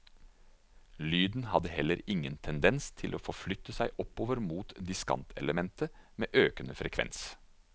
Lyden hadde heller ingen tendens til å forflytte seg oppover mot diskantelementet med økende frekvens.